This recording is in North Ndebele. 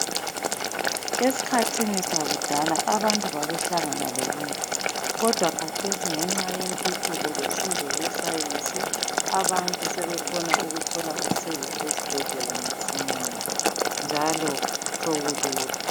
Esikhathini sakudala abantu babehlangana lobunzima kodwa kathesi ngenxa yentuthuko losizo lwesayensi abantu sebekhona ukuthola usizo ezibhedlela masinyane njalo sokulula.